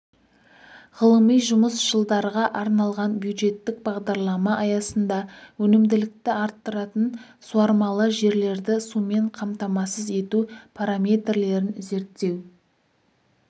ғылыми жұмыс жылдарға арналған бюджеттік бағдарлама аясында өнімділікті арттыратын суармалы жерлерді сумен қамтамасыз ету параметрлерін зерттеу